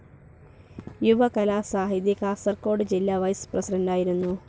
യുവകലാസാഹിതി കാസർകോട് ജില്ല വൈസ്‌ പ്രസിഡൻ്റായിരുന്നു.